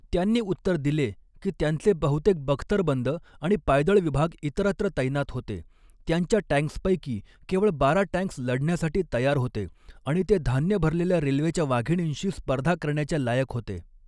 त्यांनी उत्तर दिले की त्यांचे बहुतेक बख्तरबंद आणि पायदळ विभाग इतरत्र तैनात होते, त्यांच्या टॅंक्सपैकी केवळ बारा टँक्स् लढण्यासाठी तयार होते आणि ते धान्य भरलेल्या रेल्वेच्या वाघिणींशी स्पर्धा करण्याच्या लायक होते.